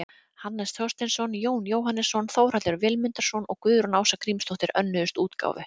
Hannes Þorsteinsson, Jón Jóhannesson, Þórhallur Vilmundarson og Guðrún Ása Grímsdóttir önnuðust útgáfu.